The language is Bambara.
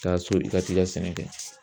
Taa so i ka t'i ka sɛnɛ kɛ